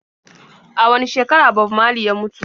A wane shekara Bob marley ya mutu?